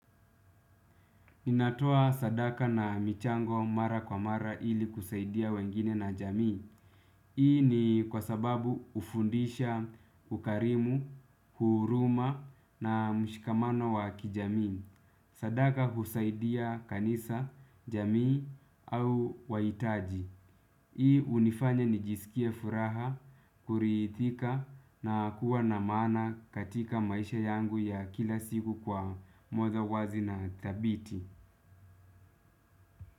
Ninatoa sadaka na michango mara kwa mara ili kusaidia wengine na jamii. Ii ni kwa sababu hufundisha, ukarimu, huruma na mshikamano wa kijamii. Sadaka husaidia kanisa, jamii au wahitaji. Hii hunifanya nijisikie furaha, kuridhika na kuwa na maana katika maisha yangu ya kila siku kwa mawazo wazi na dhabiti.